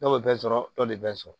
Dɔw bɛ bɛɛ sɔrɔ dɔ de bɛ sɔrɔ